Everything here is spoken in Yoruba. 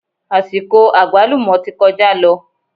Àsìkò àgbálùmọ́ ti kọjá lọ